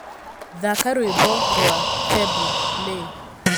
thaaka rwĩmbo rwa tebu ley